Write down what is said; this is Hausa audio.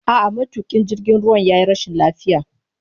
A'a, matuƙin jirgin ruwa ya yi rashin lafiya.